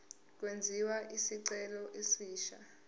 kwenziwe isicelo esisha